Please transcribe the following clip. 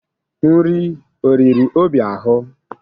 Nri o riri Obi ahụ?